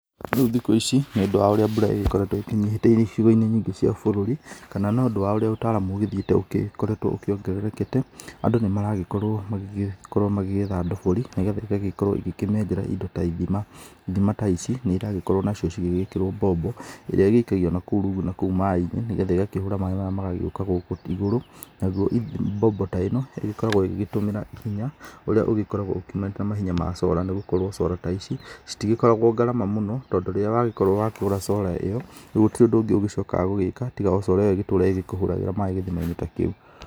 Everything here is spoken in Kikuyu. Rĩu thikũ ici nĩ ũndũ wa ũrĩa mbũra ĩgĩkoretwo ĩkĩnyĩhĩte icigo-inĩ nyingĩ cia bũrũri kana nĩ ũndũ wa ũrĩa ũtaramu ũgĩthiĩte ũgĩkoretwo ũkĩongererekete andũ nĩ maragĩkorwo magĩkorwo magĩgĩetha ndobori nĩgetha igagĩkorwo igĩkĩmethera indo ta ithima, ithima ta ici nĩ ĩragĩkorwo nacio igĩgĩkĩrwo mbombo ĩrĩa ĩgĩikagĩo nakũu maĩ-inĩ nĩgetha ĩgakĩhũra maĩ maya magagĩgĩoka gũkũ igũrũ nayo mbombo ta ĩno ĩgĩkoragwo ĩgĩtũmĩra hinya ũrĩa ũgĩkoragwo ũgĩmeta mahinya ma solar nĩgũkorwo solar ta ici citigĩkoragwo ngarama mũo tondũ rĩrĩa wagĩkorwo wakĩgũra solar ĩyo gũtirĩ ũndũ ũngĩ ũgĩcokaga gwĩka tiga o Solar ĩyo ĩgĩtũre ĩgĩkũhũragĩra maĩ gĩthima-inĩ ta kĩu.